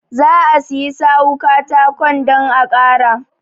Zaa siyi sawu katakon dan a ƙara.